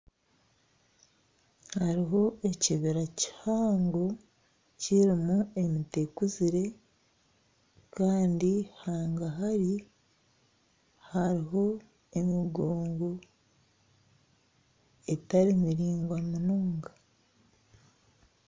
Hariho ekibira kihango kirimu emiti ekuzire kandi hagahari hariho emigongo etari miringwa munonga